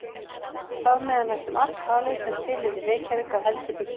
Þar með er næstum alt talið, sem til er í Reykjavík af heldri byggingum.